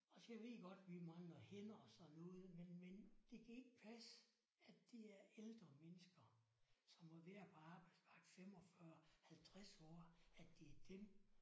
Også jeg ved godt vi mangler hænder og sådan noget men men det kan ikke passe at det er ældre mennesker som har været på arbejdsmarkedet 45 50 år at det er dem